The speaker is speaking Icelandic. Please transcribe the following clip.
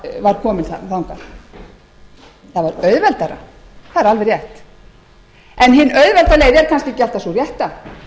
kominn þangað það var auðveldara það er alveg rétt en hin auðvelda leið er kannski alltaf sú rétta